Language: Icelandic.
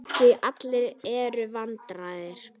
Því allur er varinn góður.